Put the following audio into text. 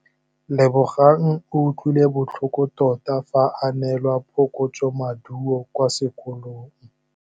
Lebogang o utlwile botlhoko tota fa a neelwa phokotsômaduô kwa sekolong.